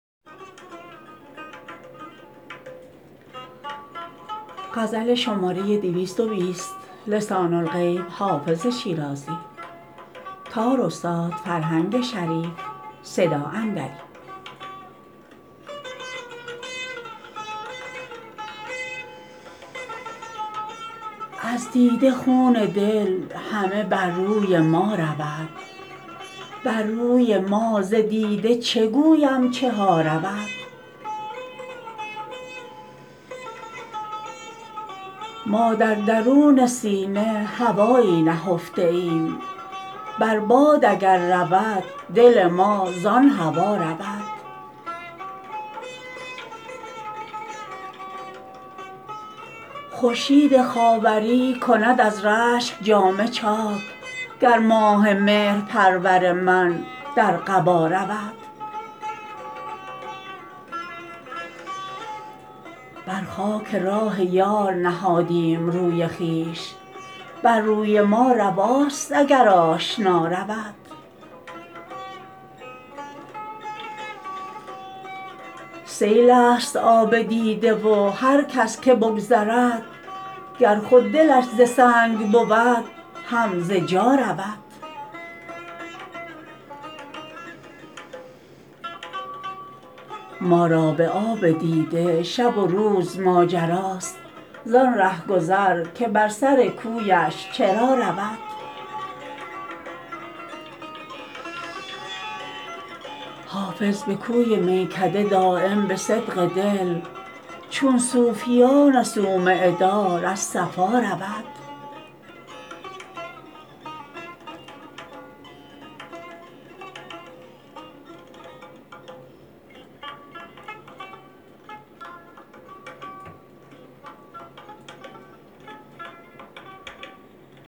از دیده خون دل همه بر روی ما رود بر روی ما ز دیده چه گویم چه ها رود ما در درون سینه هوایی نهفته ایم بر باد اگر رود دل ما زان هوا رود خورشید خاوری کند از رشک جامه چاک گر ماه مهرپرور من در قبا رود بر خاک راه یار نهادیم روی خویش بر روی ما رواست اگر آشنا رود سیل است آب دیده و هر کس که بگذرد گر خود دلش ز سنگ بود هم ز جا رود ما را به آب دیده شب و روز ماجراست زان رهگذر که بر سر کویش چرا رود حافظ به کوی میکده دایم به صدق دل چون صوفیان صومعه دار از صفا رود